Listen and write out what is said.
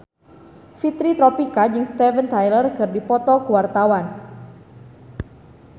Fitri Tropika jeung Steven Tyler keur dipoto ku wartawan